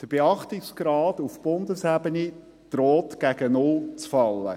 Der Beachtungsgrad auf Bundesebene droht gegen Null zu fallen.